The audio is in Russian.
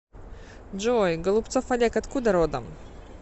джой голубцов олег откуда родом